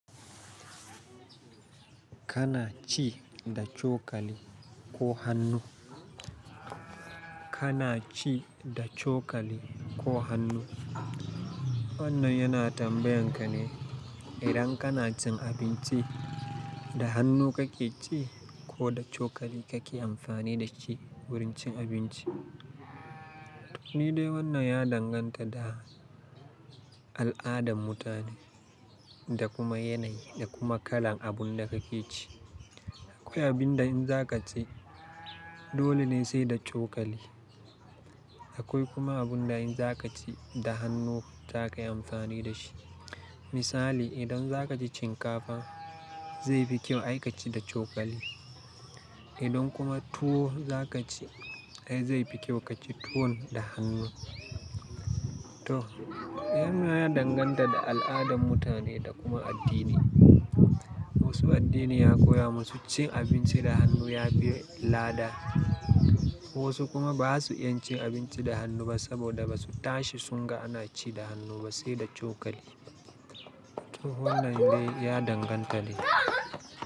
Kana ci da cokali ko hannu? Kana ci da cokali ko hannu? Wannan yana tambayan ka ne idan kana cin abinci, da hannu kake ci ko da cokali kake amfani da shi wurin cin abinci. To, ni dai wannan ya danganta da al'adan mutane da kuma yanayi da kuma kalan abun da kake ci. Akwai abin da in za ka ci, dole ne sai da cokali. Akwai kuma abun da in za ka ci, da hannu za ka yi amfani da shi. Misali, idan za ka ci shinkafa, zai fi kyau ai ka ci da cokali. Idan kuma tuwo za ka ci ai zai fi kyau ka ci tuwon da hannu. To, wannan ya danganta da al'adan mutane da kuma addini. Wasu addini ya koya masu cin abinci da hannu ya biye lada. Wasu kuma ba su iya cin abinci da hannu ba saboda ba su tashi sunga ana ci da hannu ba sai da cokali. To wannan dai ya danganta ne.